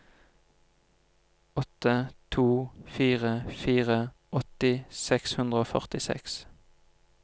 åtte to fire fire åtti seks hundre og førtiseks